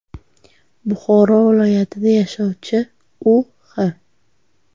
Buxoro viloyatida yashovchi U.H.